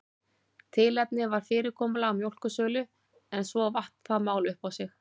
Tilefnið var fyrirkomulag mjólkursölu en svo vatt það mál upp á sig.